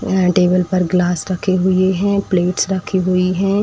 यहाँ टेबल पर ग्लास रखे हुए हैं प्लेट्स रखी हुई हैं।